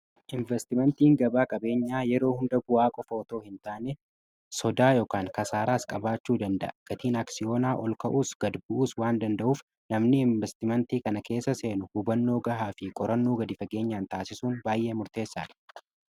Investimentiin gabaa qabeenyaa yeroo hunda bu'aa qofa otoo hin taane sodaa yk kasaaraas qabaachuu danda'a. Gatiin aksiyoonaa ol ka'uus gad bu'us waan danda'uuf namni investimentii kana keessa seenu hubannoo gahaa fi qorannuu gad fageenyaan taasisuun baay'ee murteessaa.